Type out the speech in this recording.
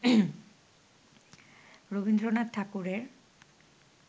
রবীন্দ্রনাথ ঠাকুরের